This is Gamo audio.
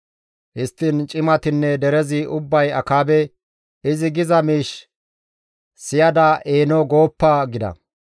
Histtiin cimatinne derezi ubbay Akaabe, «Izi giza miish siyada eeno gooppa!» gida.